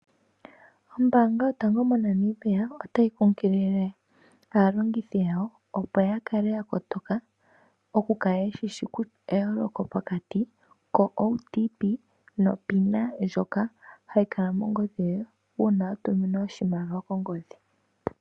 Ombaanga yotango yoshigwana otayi kunkilile aalongithi yawo opo yakale yakotoka yakale yeshi eyooloko pokati ko OTP no Pina ndjoka hayi kala mongodhi yoye uuna watuminwa oshimaliwa ho.